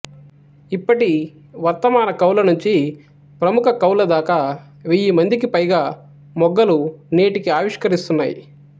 ఇప్పటి వర్తమాన కవులనుంచి ప్రముఖ కవులదాకా వెయ్యిమందికిపైగా మొగ్గలు నేటికీ ఆవిష్కరిస్తున్నారు